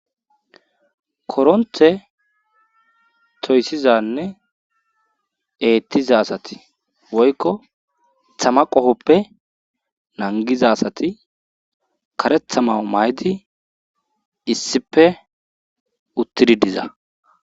koronthe toyssizanne eettiza asati woykko thama qofoppe nangiza asati karethamau maydi issife uttidi diza